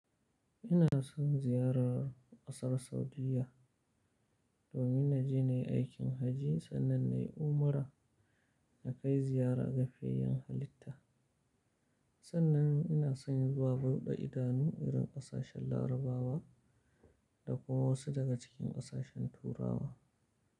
Ina son ziyarar ƙasar Saudiyya domin na je na yi aikin hajji sannan na yi umra na kai ziyara ga fiyayen halitta. Sannan ina son zuwa buɗe idanu irin ƙasashen Larabawa da kuma wasu daga cikin ƙasashen Turawa.